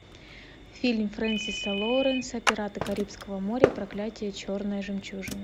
фильм фрэнсиса лоуренса пираты карибского моря проклятие черной жемчужины